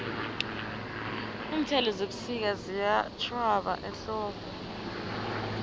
iinthelo zebusika ziyatjhwaba ehlobo